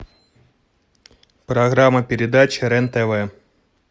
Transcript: программа передач рен тв